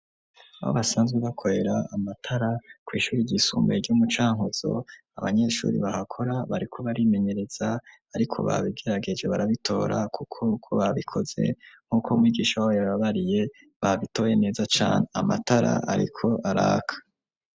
Aho basanzwe bakorera amatara kw' ishuri ryisumbeye ryo mucankuzo ,abanyeshuri bahakora bariko barimenyereza ariko babigerageje barabitora kuko uko babikoze nk'uko mwigisha wabo yababariye, babitoye neza cane amatara ariko araka.